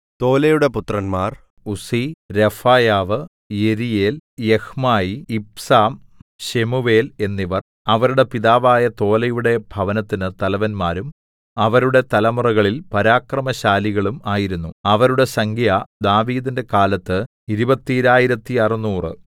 തോലയുടെ പുത്രന്മാർ Uzzi Rephaiah Jeriel Jahmai Ibsam Shemuel എന്നിവർ അവരുടെ പിതാവായ തോലയുടെ ഭവനത്തിന് തലവന്മാരും അവരുടെ തലമുറകളിൽ പരാക്രമശാലികളും ആയിരുന്നു അവരുടെ സംഖ്യ ദാവീദിന്റെ കാലത്ത് ഇരുപത്തീരായിരത്തറുനൂറു